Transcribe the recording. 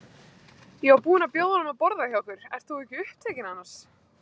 Ég var búin að bjóða honum að borða hjá okkur- ert þú ekki upptekinn annars?